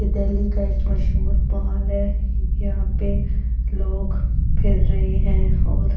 ये दिल्ली का एक मशहूर महल है यहां पे लोग फिर रहे हैं और--